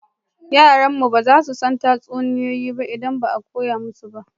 Yaran mu ba za su san tatsuniyoyi ba in ba mu koya musu ba